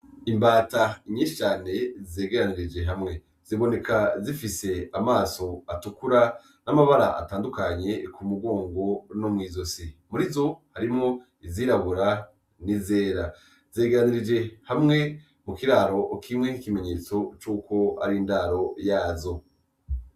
Imbata inyishane zegaaanirije hamwe ziboneka zifise amaso atukura n'amabara atandukanye ku mugongo no mw'izo si muri zo harimwo izirabura ni zera zeganirije hamwe mu kiraro ukimwe nk'ikimenyetso c'uko ari indaro yazo.